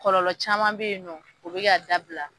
Kɔlɔlɔ caman bɛ yen nɔ o bɛ ka dabila.